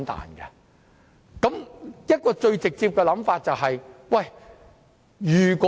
我想提出一個最直接的說法。